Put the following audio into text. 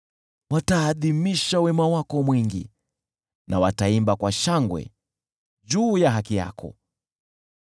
Wataadhimisha wema wako mwingi, na wataimba kwa shangwe juu ya haki yako.